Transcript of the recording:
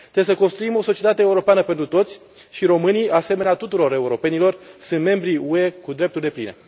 Trebuie să construim o societate europeană pentru toți și românii, asemenea tuturor europenilor, sunt membri UE cu drepturi depline.